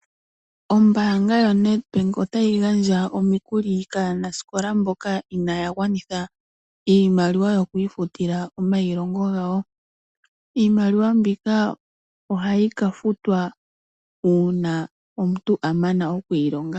Ombaanga yoNedbank otayi gandja omikuli kaanasikola mboka inaya gwanitha iimaliwa yokwiifutila omayilongo gawo. Iimaliwa mbika ohayi kafutwa una omuntu amana okwiilonga.